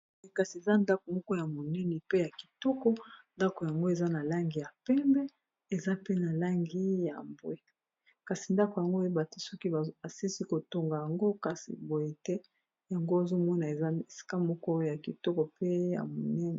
kasi eza ndako moko ya monene pe ya kitoko ndako yango eza na langi ya pembe ,eza pe na langi ya mbwe, kasi ndako yango oyebate soki balisi kotonga yango, kasi boye te yango ozomona eza esika moko ya kitoko pe ya monene.